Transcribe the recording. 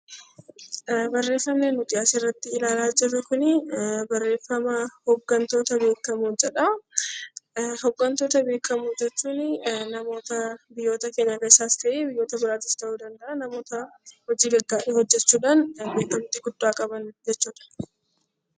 Barreeffamni nuti as irratti ilaalaa jirru kunii barreeffama 'Hoggantoota beekamoo' jedha. Hoggantoota beekamoo jechuun namoora biyya keenta keessas ta'e, biyyoota bieaatis ta'uu danda'aa namoota hojii gaggaarii hojjechuu dhaan kan beekamtii guddaa qaban jechuu dha.